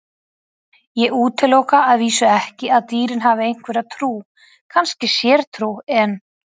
Ég útiloka að vísu ekki að dýrin hafi einhverja trú, kannski sértrú, en.